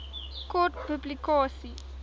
kort publikasie